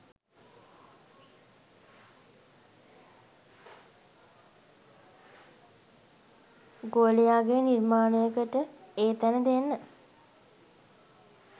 ගෝලයාගේ නිර්මාණයකට ඒ තැන දෙන්න.